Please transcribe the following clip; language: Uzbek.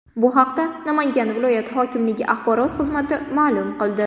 Bu haqda Namangan viloyat hokimligi axborot xizmati ma’lum qildi .